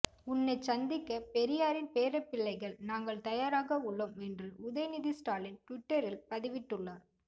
உன்னைச் சந்திக்க பெரியாரின் பேரப்பிளைகள் நாங்கள் தயாராக உள்ளோம் என்று உதயநிதி ஸ்டாலின் டுவிட்டரில் பதிவிட்டுள்ளார்